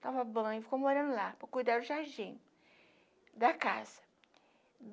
Tomava banho, ficou morando lá, para cuidar do jardim da casa.